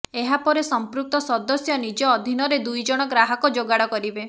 ଏହାପରେ ସଂପୃକ୍ତ ସଦସ୍ୟ ନିଜ ଅଧୀନରେ ଦୁଇ ଜଣ ଗ୍ରାହକ ଯୋଗାଡ଼ କରିବେ